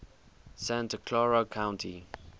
santa clara county